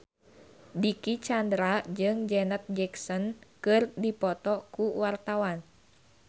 Dicky Chandra jeung Janet Jackson keur dipoto ku wartawan